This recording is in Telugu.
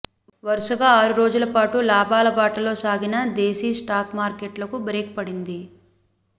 వరుసగా ఆరు రోజులపాటు లాభాల బాటలోసాగిన దేశీ స్టాక్ మార్కెట్లకు బ్రేక్ పడింది